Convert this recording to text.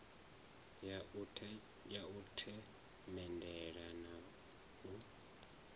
ya u themendela na u